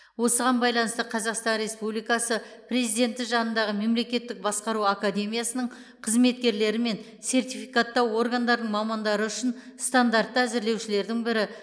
осыған байланысты қазақстан республикасы президенті жанындағы мемлекеттік басқару академиясының қызметкерлері мен сертификаттау органдарының мамандары үшін стандартты әзірлеушілердің бірі